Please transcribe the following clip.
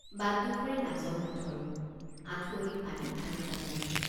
বাটডুখৰি নাজল-নাথল। আঁঠুৱনী পানী ভাঙি যাব লাগে।